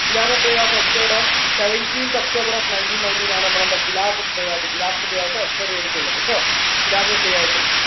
khilafath day was observed on seventeenth October of nineteen nineteen ആണെന്ന് khilafath day ആയിട്ട് khilafath day ആയിട്ട് observe ചെയ്തിട്ടുള്ളത് ട്ടോ khilafath day ആയിട്ട്